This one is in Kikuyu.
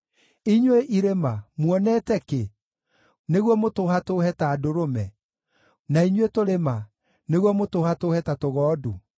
Inyuĩ irĩma, muonete kĩ, nĩguo mũtũhatũũhe ta ndũrũme, na inyuĩ tũrĩma, nĩguo mũtũhatũũhe ta tũgondu?